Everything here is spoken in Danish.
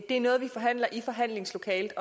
det er noget vi forhandler i forhandlingslokalet